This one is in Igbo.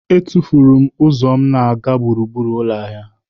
Etufuru m ụzọ na-aga gburugburu ụlọ ahịa.